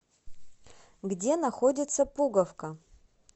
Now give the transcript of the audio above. где находится пуговка